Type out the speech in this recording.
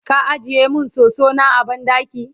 ka ajiye min soso na a banɗaki?